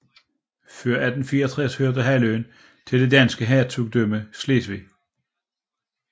Før 1864 hørte halvøen til det danske hertugdømme Slesvig